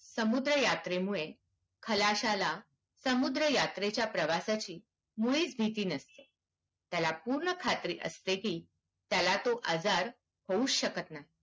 समुद्र यात्रेमुळे खालश्याला समुद्र यात्रेच्या प्रवासाची मुळीच भीती नसते त्याला पूर्ण खात्री असते की त्याला तो आजार होवूच शकत नाही